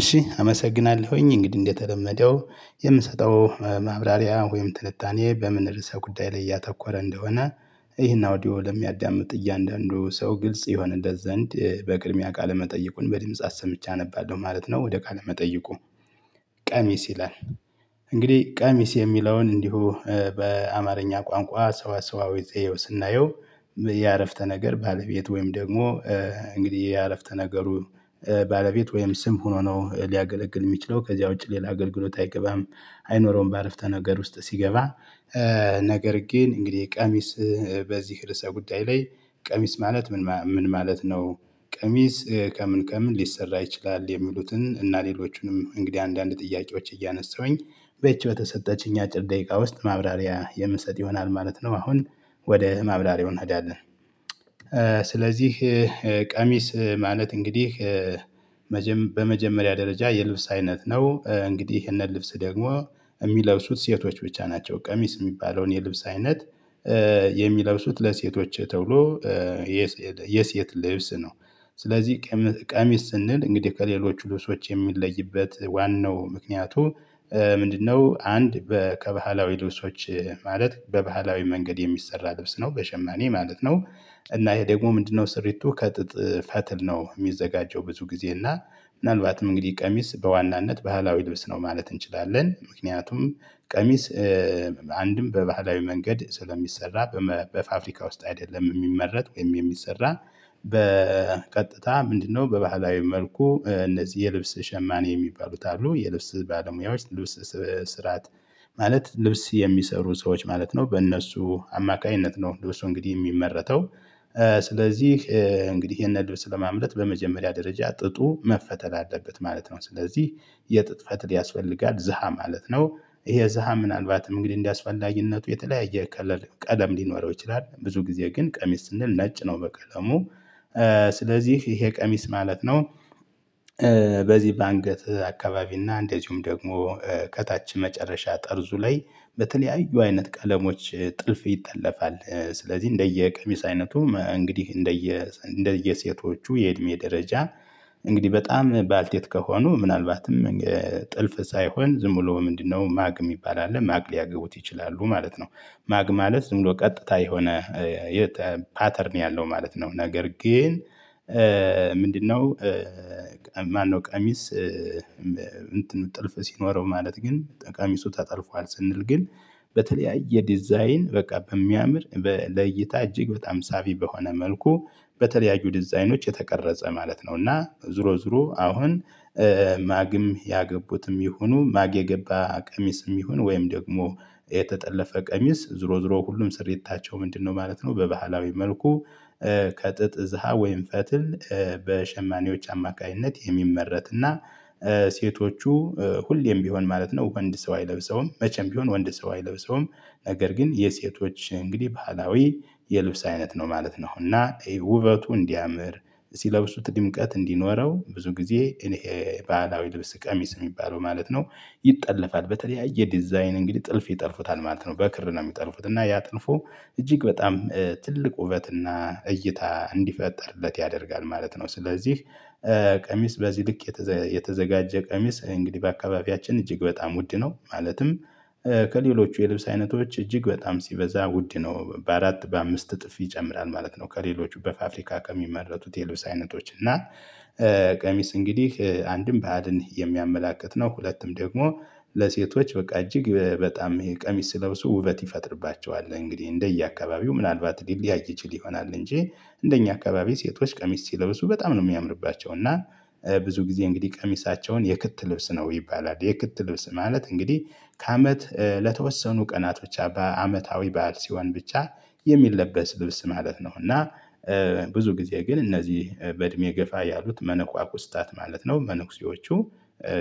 እሺ አመሰግናለሁኝ እንግዲህ እንደተለመደው የምሰጠው ማብራሪያ ወይም ትንታኔ በምን ርዕሰ ጉዳይ ላይ እያተኮረ እንደሆነ ይህን አውዲዮ ለሚያዳምጥ እያንዳንዱ ሰው ግልጽ ይሆንለት ዘንድ በቅድሚያ ቃለመጠየቁን በድምጽ ሰምቼ አነባለሁ ማለት ነው። ወደ ቃለመጠየቁ ቀሚስ ይላል እንግዲህ ቀሚስ የሚለውን እንዲሁ በአማርኛ ቋንቋ ሰዋሰዋዊ ዘዬው ስናየው። የአረፍተ ነገር ባለቤት ወይም ደግሞ እንግዲህ ያረፍተ ነገሩ ባለቤት ወይም ስም ሆኖ ነው ሊያገለግል የሚችለው ከዚያ ውጪ ሌላ አገልግሎት አይገባም። አይኖረውም በአረፍተ ነገር ውስጥ ሲገባ። ነገር ግን እንግዲህ ቀሚስ በዚህ ርዕሰ ጉዳይ ላይ ቀሚስ ማለት ምን ምን ማለት ነው? ቀሚስ ከምን ከምን ሊሰራ ይችላል? የሚሉትን እና ሌሎቹንም እንግዲህ አንዳንድ ጥያቄዎች እያነሳሁኝ በይቺ በተሰጠችኝ አጭር ደቂቃ ውስጥ ማብራሪያ የምሰጥ ይሆናል ማለት ነው። አሁን ወደ ማብራሪያው እንሄዳለን። ስለዚህ ቀሚስ ማለት እንግዲህ በመጀመሪያ ደረጃ የልብስ አይነት ነው። እንግዲህ ይህንን ልብስ ደግሞ የሚለብሱት ሴቶች ብቻ ናቸው። ቀሚስ የሚባለውን የልብስ አይነት የሚለብሱት ለሴቶች ተብሎ የሴት ልብስ ነው። ስለዚህ ቀሚስ ስንል እንግዲህ ከሌሎች ልብሶች የሚለይበት ዋናው ምክንያቱ ምንድነው? አንድ በ ከባህላዊ ልብሶች ማለት በባህላዊ መንገድ የሚሰራ ልብስ ነው በሸማኔ ማለት ነው። እና ይሄ ደግሞ ምንድነው? ስሪቱ ከጥጥ ፈትል ነው የሚዘጋጀው ብዙ ጊዜ እና ምናልባትም እንግዲህ ቀሚስ በዋናነት ባህላዊ ልብስ ነው ማለት እንችላለን። ምክንያቱም ቀሚስ አንድም በባህላዊ መንገድ ስለሚሰራ በፋፍሪካ ውስጥ አይደለም የሚመረት ወይም የሚሰራ በቀጥታ ምንድነው በባህላዊ መልኩ እነዚህ የልብስ ሸማኔ የሚባሉት አሉ የልብስ ባለሙያዎች ልብስ ስራት ማለት ልብስ የሚሰሩ ሰዎች ማለት ነው። በእነሱ አማካኝነት ነው ልብሱ እንግዲህ የሚመረተው። ስለዚህ እንግዲህ ይሄንን ልብስ ለማምረት በመጀመሪያ ደረጃ ጥጡ መፈተል አለበት ማለት ነው። ስለዚህ የጥጥ ፈትል ያስፈልጋል። ዘሃ ማለት ነው ይሄ ዘሃ ምናልባትም እንግዲህ እንደአስፈላጊነቱ የተለያየ ከለር ቀለም ሊኖረው ይችላል። ብዙ ጊዜ ግን ቀሚስ ስንል ነጭ ነው። በቀለሙ ስለዚህ ይሄ ቀሚስ ማለት ነው። በዚህ በአንገት አካባቢ እና እንደዚሁም ደግሞ ከታች መጨረሻ ጠርዙ ላይ በተለያዩ አይነት ቀለሞች ጥልፍ ይጠለፋል። ስለዚህ እንደየ ቀሚስ አይነቱ እንግዲህ እንደየ እንደየሴቶቹ የእድሜ ደረጃ እንግዲህ በጣም ባልቴት ከሆኑ ምናልባትም ጥልፍ ሳይሆን ዝም ብሎ ምንድነው? ማግ የሚባል አለ ማግ ሊያገቡት ይችላሉ ማለት ነው። ማግ ማለት ዝም ብሎ ቀጥታ የሆነ ፓተርን ያለው ማለት ነው። ነገር ግን ምንድነው? ማነው ቀሚስ እንትን ጥልፍ ሲኖረው ማለት ግን ጠቀሚሱ ተጠልፏል ስንል ግን በተለያየ ዲዛይን በቃ በሚያምር በለይታ እጅግ በጣም ሳቢ በሆነ መልኩ በተለያዩ ዲዛይኖች የተቀረጸ ማለት ነው። እና ዙሮ ዙሮ አሁን ማግም ያገቡትም ይሁኑ ማግ የገባ ቀሚስም ይሁን ወይም ደግሞ የተጠለፈ ቀሚስ ዝሮ ዝሮ ሁሉም ስሪታቸው ምንድነው ማለት ነው። በባህላዊ መልኩ ከጥጥ ዘሃ ወይም ፈትል በሸማኔዎች አማካኝነት የሚመረት እና ሴቶቹ ሁሌም ቢሆን ማለት ነው። ወንድ ሰው አይለብሰውም መቼም ቢሆን ወንድ ሰው አይለብሰውም። ነገር ግን የሴቶች እንግዲህ ባህላዊ የልብስ አይነት ነው ማለት ነው። እና ውበቱ እንዲያምር ሲለብሱት ድምቀት እንዲኖረው ብዙ ጊዜ እኔ ባህላዊ ልብስ ቀሚስ የሚባለው ማለት ነው። ይጠለፋል በተለያየ ዲዛይን እንግዲህ ጥልፍ ይጠልፉታል ማለት ነው። በክር ነው የሚጠልፉት እና ያ ጥልፉ እጅግ በጣም ትልቅ ውበትና እይታ እንዲፈጠርለት ያደርጋል ማለት ነው። ስለዚህ ቀሚስ በዚህ ልክ የተዘጋጀ ቀሚስ እንግዲህ በአካባቢያችን እጅግ በጣም ውድ ነው። ማለትም ከሌሎቹ የልብስ አይነቶች እጅግ በጣም ሲበዛ ውድ ነው በአራት በአምስት እጥፍ ይጨምራል ማለት ነው። ከሌሎች በፋፍሪካ ከሚመረቱት የልብስ አይነቶች እና ቀሚስ እንግዲህ አንድም ባዕድን የሚያመላክት ነው። ሁለቱም ደግሞ ለሴቶች በቃ እጅግ በጣም ይሄ ቀሚስ ሲለብሱ ውበት ይፈጥርባቸዋል እንግዲህ እንደየአካባቢው ምናልባት ሊለያይ ይችል ይሆናል። እንጂ እንደኛ አካባቢ ሴቶች ቀሚስ ሲለብሱ በጣም ነው የሚያምርባቸው። እና ብዙ ጊዜ እንግዲህ ቀሚሳቸውን የክት ልብስ ነው ይባላል የክት ልብስ ማለት እንግዲህ ከአመት ለተወሰኑ ቀናት ብቻ በአመታዊ በዓል ሲሆን ብቻ የሚለበስ ልብስ ማለት ነው። እና ብዙ ጊዜ ግን እነዚህ በእድሜ ገፋ ያሉት መነኳኩስታት ማለት ነው መነኩሴዎቹ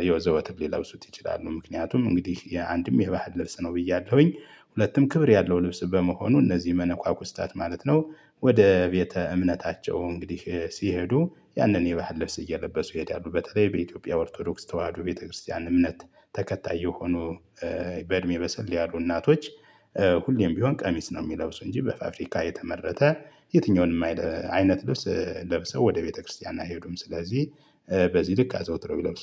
የወዘወትር ሊለብሱት ይችላሉ። ምክንያቱም እንግዲህ የአንድም የባህል ልብስ ነው ብያለሁኝ። ሁለትም ክብር ያለው ልብስ በመሆኑ እነዚህ መነኳኩስታት ማለት ነው። ወደ ቤተ እምነታቸው እንግዲህ ሲሄዱ ያንን የባህል ለብስ እየለበሱ ይሄዳሉ። በተለይ በኢትዮጵያ ኦርቶዶክስ ተዋህዶ ቤተክርስቲያን እምነት ተከታይ የሆኑ በእድሜ በሰል ያሉ እናቶች ሁሌም ቢሆን ቀሚስ ነው የሚለብሱ እንጂ በፋፍሪካ የተመረተ የትኛውንም አይነት ልብስ ለብሰው ወደ ቤተክርስቲያን አይሄዱም። ስለዚህ በዚህ ልክ አዘውትረው ይለብሱ